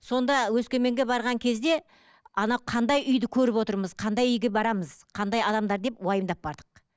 сонда өскеменге барған кезде ана қандай үйді көріп отырмыз қандай үйге барамыз қандай адамдар деп уайымдап бардық